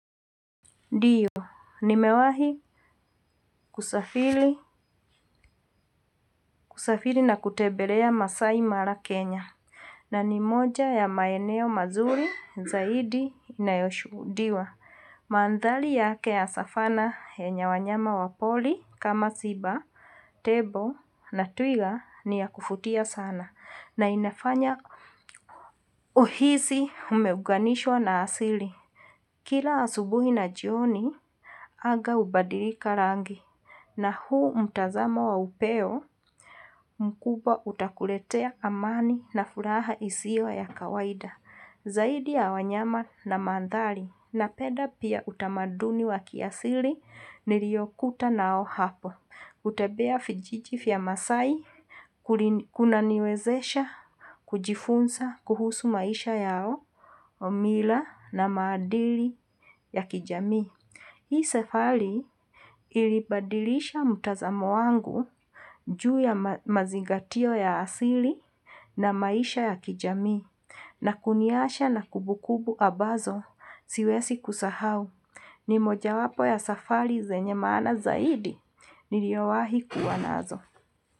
Ddio, nimewahi kusafiri na kutembela masai mara Kenya, nani moja ya maeneo mazuri zaidi inayoshuhudiwa. Maandhari yake savana yenye wanyama wa wapori kama simba, tembo na twiga ni ya kuvutia sana. Na inafanya uhisi umeunganishwa na asili. Kila asubuhi na jioni, anga hubadilika rangi. Na hu mutazamo wa upeo, mkubwa utakuletea amani na furaha isiyo ya kawaida. Zaidi ya wanyama na maandhari, napeda pia utamaduni wa kiasili, niliyokuta nao hapo. Kutembea vijiji vya masaai, kuna niwezesha, kujifunza, kuhusu maisha yao, mila na maadili ya kijami. Hii. Safari ilibadilisha mtazamo wangu ju ya mazingatio ya asili na maisha ya kijami. Na kuniacha na kumbukumbu ambazo siwezi kusahau, ni mojawapo ya safari zenye maanaam zaidi, niliyowaahi kuwa nazo.